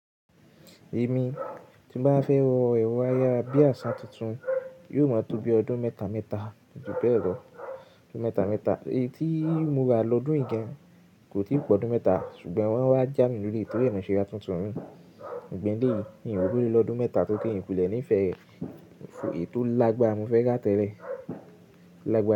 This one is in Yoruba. Èmi tí mo bá fẹ́ rọ ayarabíàṣà tuntun, yóò máa tó bi ọdún mẹ́ta mẹ́ta jù bẹẹ lọ. Ọdún mẹ́ta mẹ́ta. Èyí tí mo ra lọ́dún ìgàn kò tí ì pọ̀ ọdún mẹ́ta ṣùgbọ́n wọ́n wá já mi lórí tori e mo ṣẹ́ ra tuntun mi. Ǹbẹ́ lè, mi ò rí ọ lódún mẹ́ta tó kí n kulẹ̀ ní ìfẹ́ ẹ, èyí tó lágbára mo fẹ́ já tẹ́lẹ̀.